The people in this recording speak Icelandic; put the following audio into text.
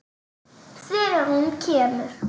Þegar hún kemur.